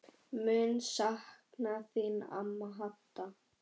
Mun sakna þín amma Hadda.